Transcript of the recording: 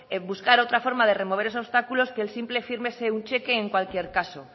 buscar otra forma de remover esos obstáculos que el simple fírmese un cheque en cualquier caso